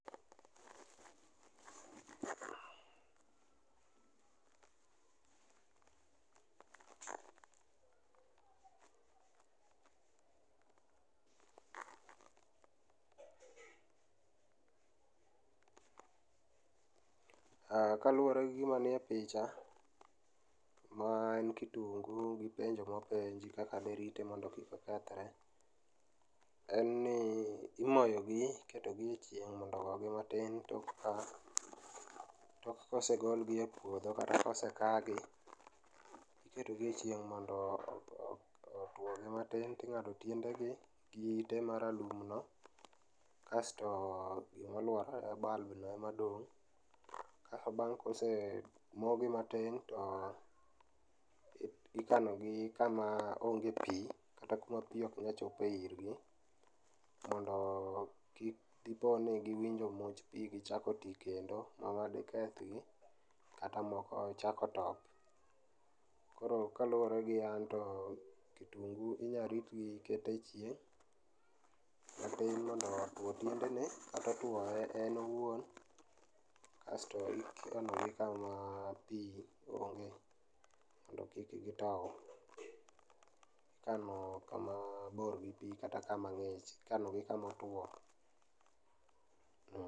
Aaah, kaluore gi gima ni e picha ma en kitungu gi penjo mopenji kaka derite mondo kik okethre, en ni imoyo gi ,iketo gi e chieng' mondo ogogi matin tok ka, tok ka osegol gi e puodho kata kose kaa gi iketo gi e chieng' mondo otuo gi matin, ting'ado tiendegi, gi ite maralum no kasto gima oluorore, bulb no ema dong',Bang' kose moo gi matin to ikano gi kama onge pii kata kuma pii ok nyal chope irgi mondo diponi giyudo much pii no gichako tii kendo mano dikethgi kata moko chako top. Koro kaluore gi an to kitungu inyal ritgi kiketo e chieng matin otuo tiende ne kata otuo en owuon kasto ikano gi kama pii onge mondo kik gitow. Ikano kama bor gi pii, ikat akama ng'ich, ikanogi kama otuo